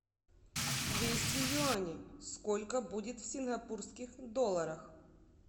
двести юаней сколько будет в сингапурских долларах